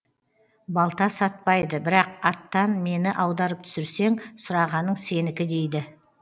балта сатпайды бірақ аттан мені аударып түсірсең сұрағаның сенікі дейді